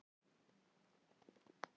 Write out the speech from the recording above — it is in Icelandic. Rauði hringurinn markar legu hans.